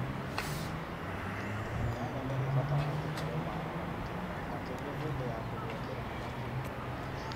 Nyanya nĩ ĩbataraga kũheo maaĩ maingĩ, makĩria hĩndĩ ya kũgĩa Kĩro na matunda.